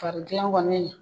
Faridilan kɔni